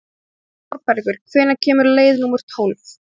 Þorbergur, hvenær kemur leið númer tólf?